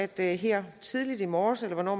der her tidligt i morges eller hvornår